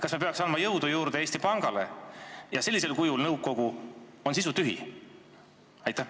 Kas me peaks andma jõudu juurde Eesti Pangale, kui sellisel kujul nõukogu on sisutühi?